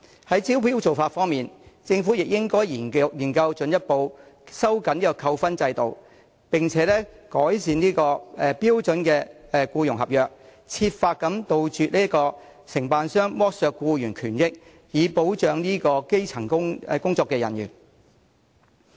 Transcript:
在招標的做法方面，政府也應研究進一步收緊扣分制度，並改善標準僱傭合約，設法杜絕承辦商剝削僱員權益，以保障基層員工。